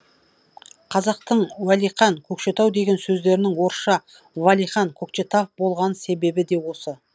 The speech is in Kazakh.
қазақтың уәлиқан көкшетау деген сөздерінің орысша валихан кокчетав болған себебі де осы